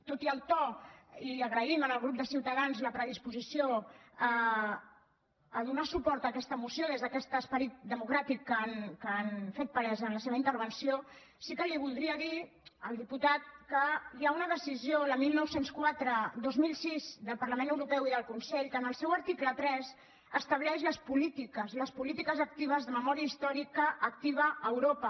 tot i el to i agraïm al grup de ciutadans la predisposició a donar suport a aquesta moció des d’aquest esperit democràtic que han fet palès en la seva intervenció sí que li voldria dir al diputat que hi ha una decisió la dinou zero quatre dos mil sis del parlament europeu i del consell que en el seu article tres estableix les polítiques les polítiques actives de memòria històrica activa a europa